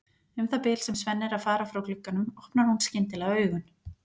Um það bil sem Svenni er að fara frá glugganum opnar hún skyndilega augun.